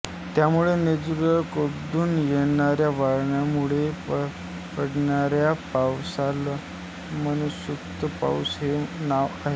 त्यामुळे नैर्ऋत्येकडून येणाऱ्या वाऱ्यांमुळे पडणाऱ्या पावसाला मान्सूनचा पाऊस हे नाव आहे